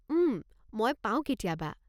উম, মই পাওঁ কেতিয়াবা।